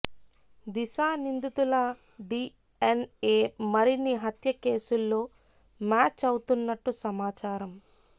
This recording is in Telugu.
దిశా నిందితుల డిఎన్ఎ మరిన్ని హత్య కేసుల్లో మ్యాచ్ అవుతున్నట్టు సమాచారం